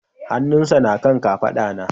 Hannunsa na kan kafada na